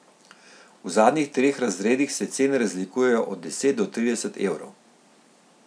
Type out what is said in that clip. V zadnjih treh razredih se cene razlikujejo od deset do trideset evrov.